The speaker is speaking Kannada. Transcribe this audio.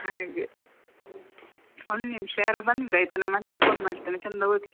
ಹಾಗೆ ಒಂದ್ನಿಮ್ಶ ಯಾರೋ ಬಂದ್ರ್ ಆಯ್ತಾ ನಾನ್ ಮತ್ತೆ phone ಮಾಡ್ತೇನೆ ಚೆಂದ ಓದಿ